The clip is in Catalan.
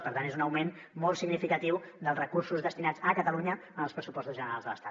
per tant és un augment molt significatiu dels recursos destinats a catalunya en els pressupostos generals de l’estat